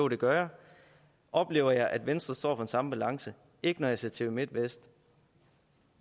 det gør jeg oplever jeg at venstre står for den samme balance ikke når jeg ser tv midtvest